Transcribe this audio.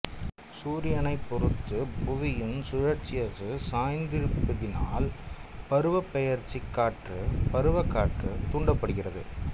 சூரியனைப் பொறுத்து புவியின் சுழற்சியச்சு சாய்ந்திருப்பதனால் பருவப்பெயர்ச்சிக் காற்று பருவக்காற்று தூண்டப்படுகிறது